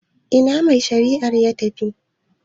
Ina mai shari'ar ya tafi?